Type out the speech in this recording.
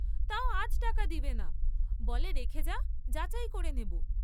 তাও আজ টাকা দেবে না, বলে রেখে যা, যাচাই করে নেব।